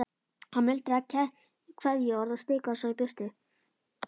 Hann muldraði kveðjuorð og stikaði svo í burtu.